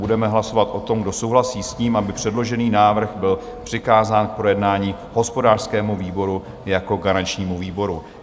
Budeme hlasovat o tom, kdo souhlasí s tím, aby předložený návrh byl přikázán k projednání hospodářskému výboru jako garančnímu výboru.